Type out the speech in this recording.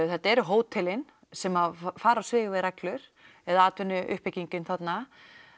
þetta eru hótelin sem fara á svig við reglur eða atvinnuuppbyggingin þarna